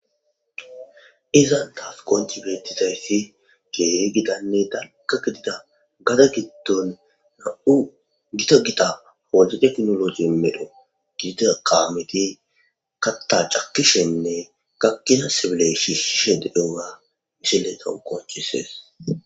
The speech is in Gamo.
izan taas qonci beettizayssi geeri gidanne dagga gidida gada giddon na7u gito gida hode teknologi medho gidita qaameti katta cakishenne gakkina sibiley shi shished ea misiletan qoncisees.